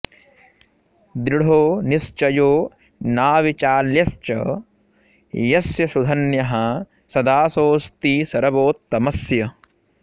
दृढो निश्चयो नाविचाल्यश्च यस्य सुधन्यः स दासोऽस्ति सर्वोत्तमस्य